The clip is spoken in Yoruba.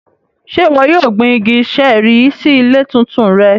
Ṣe iwọ yóò gbin igi ṣẹẹri si ile titun rẹ?